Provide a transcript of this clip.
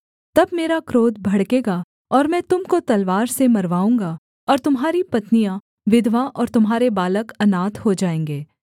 तब मेरा क्रोध भड़केगा और मैं तुम को तलवार से मरवाऊँगा और तुम्हारी पत्नियाँ विधवा और तुम्हारे बालक अनाथ हो जाएँगे